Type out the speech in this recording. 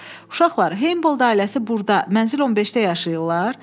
Uşaqlar, Heybold ailəsi burda mənzil 15-də yaşayırlar?